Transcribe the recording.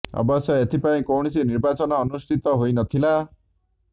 ଅବଶ୍ୟ ଏଥିପାଇଁ କୌଣସି ନିର୍ବାଚନ ଅନୁଷ୍ଠିତ ହୋଇ ନ ଥିଲା